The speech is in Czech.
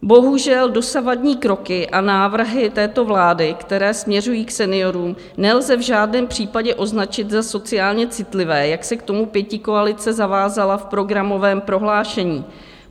Bohužel dosavadní kroky a návrhy této vlády, které směřují k seniorům, nelze v žádném případě označit za sociálně citlivé, jak se k tomu pětikoalice zavázala v programovém prohlášení.